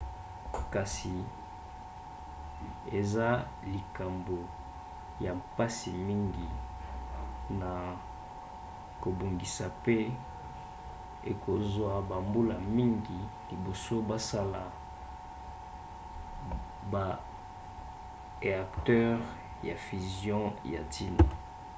kasi eza likambo ya mpasi mingi na kobongisa pe ekozwa bambula mingi liboso basala ba éacteurs ya fusion ya ntina